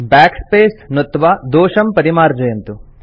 backspace नुत्त्वा दोषं परिमार्जयन्तु